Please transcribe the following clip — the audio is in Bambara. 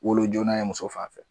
Wolo joona ye muso fanfɛ